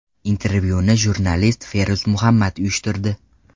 Intervyuni jurnalist Feruz Muhammad uyushtirdi.